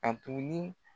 A tuguni